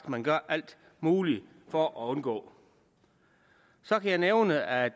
at man gør alt muligt for at undgå så kan jeg nævne at